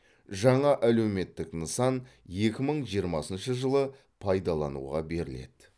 жаңа әлеуметтік нысан екі мың жиырмасыншы жылы пайдалануға беріледі